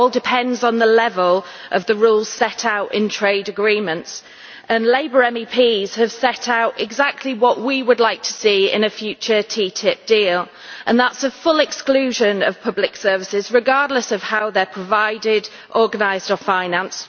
It all depends on the level of the rules set out in trade agreements, and Labour MEPs have set out exactly what we would like to see in a future TTIP deal a full exclusion of public services, regardless of how they are provided, organised or financed